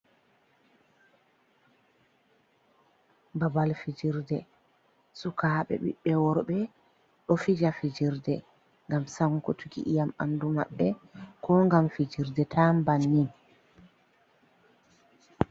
Babal fijirde sukaaɓe, ɓiɓbe worɓe ɗo fija fijirde ngam sankutuki ƴiam ɓnandu maɓɓe koo ngam fijirde tan bannin.